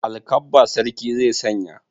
Alkabba sarki zai sanya.